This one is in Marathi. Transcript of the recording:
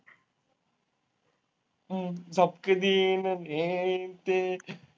हम्म झपके देईन हे अन ते.